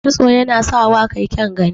Kitso yanap sawa ka yi kyaun gani.